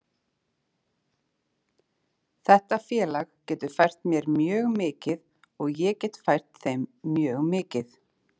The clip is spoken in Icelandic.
Þetta félag getur fært mér mjög mikið og ég get fært þeim mjög mikið.